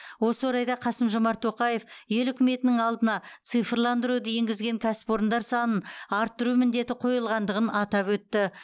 осы орайда қасым жомарт тоқаев ел үкіметінің алдына цифрландыруды енгізген кәсіпорындар санын арттыру міндеті қойылғандығын атап өтті